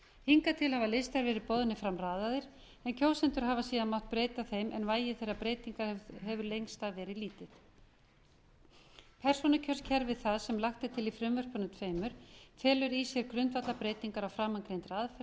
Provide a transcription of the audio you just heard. hingað til hafa listar verið boðnir fram raðaðir en kjósendur hafa síðan mátt breyta þeim en vægi þeirra breytingar hefur lengst af verið lítið persónukjörskerfi það sem lagt er til í frumvörpunum tveimur felur í sér grundvallarbreytingar á framangreindri aðferð við